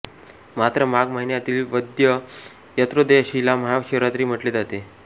मात्र माघ महिन्यातील वद्य त्रयोदशीला महाशिवरात्री म्हटले जाते